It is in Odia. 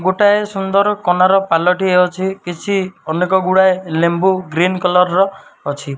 ଗୋଟାଏ ସୁନ୍ଦର୍ କନାର ପାଲ ଟିଏ ଅଛି କିଛି ଅନେକ ଗୁଡାଏ ଲେମ୍ବୁ ଗ୍ରୀନ କଲର୍ ର ଅଛି।